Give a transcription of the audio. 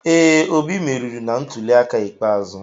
Ee, Obi meriri na ntuliaka ikpeazụ.